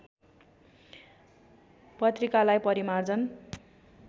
पत्रिकालाई परिमार्जन